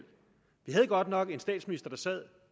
havde godt nok en statsminister